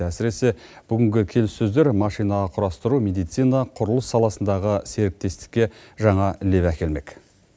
әсіресе бүгінгі келіссөздер машина құрастыру медицина құрылыс саласындағы серіктестікке жаңа леп әкелмек